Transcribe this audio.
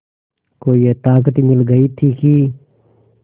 को ये ताक़त मिल गई थी कि